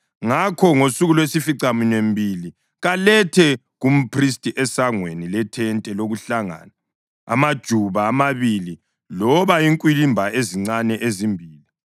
Ngakho ngosuku lwesificaminwembili kalethe kumphristi esangweni lethente lokuhlangana amajuba amabili loba inkwilimba ezincane ezimbili.